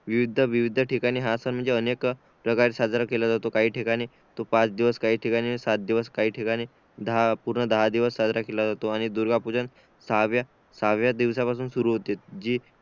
विविध ठिकाणी हा सण म्हणजे अनेक प्रकारे साजरा केला जातो काही ठिकाणी तोच पाच दिवस काही ठिकाणी साथ दिवस काही ठिकाणी दहा पूर्ण दहा दिवस साजरा केला जातो आणि दुर्गा पूजन सहाव्या सह्यवा दिवसापासून सुरु होतो